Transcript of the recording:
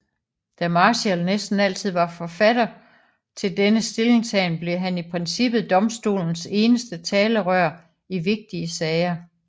Da Marshall næsten altid var forfatter til denne stillingtagen blev han i princippet domstolens eneste talerør i vigtige sager